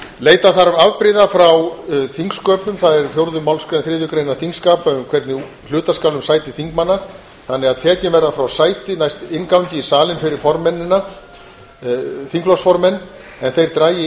leita þarf afbrigða frá þingsköpum það er fjórða málsgrein þriðju greinar þingskapa um hvernig hluta skal um sæti þingmanna þannig að tekin verða frá sæti næst inngangi í salinn fyrir þingflokksformenn en þeir dragi